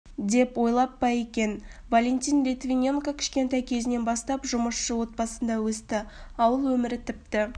деп ойлап па екен валентин литвиненко кішкентай кезінен бастап жұмысшы отбасында өсті ауыл өмірі тіпті